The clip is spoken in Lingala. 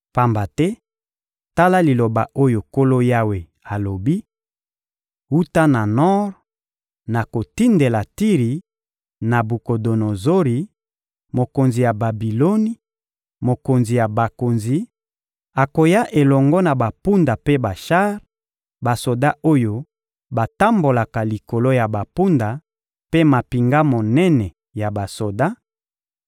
Pamba te, tala liloba oyo Nkolo Yawe alobi: Wuta na nor, nakotindela Tiri Nabukodonozori, mokonzi ya Babiloni, mokonzi ya bakonzi: akoya elongo na bampunda mpe bashar, basoda oyo batambolaka likolo ya bampunda mpe mampinga monene ya basoda;